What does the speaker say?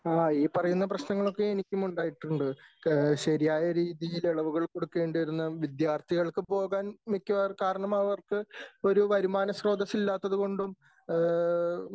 ആ ഈ പറയുന്ന പ്രശ്നങ്ങളൊക്കെ എനിക്കും ഉണ്ടായിട്ടുണ്ട് . ശരിയായ രീതിയിൽ ഇളവുകൾ കൊടുക്കേണ്ടിയിരുന്ന വിദ്യാർഥികൾക്ക് പോകാൻ മിക്കവാറും കാരണം അവർക്ക് ഒരു വരുമാന സ്രോതസ്സ് ഇല്ലാത്തത് കൊണ്ടും ഏ